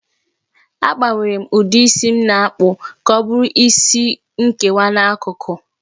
Agbanwere m ụdị isi m na-akpụ ka ọ bụrụ isi nkewa n'akụkụ